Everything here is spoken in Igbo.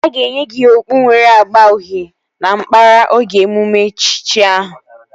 A ga-enye gị okpu nwere agba uhie na nkpara oge emume echichi ahụ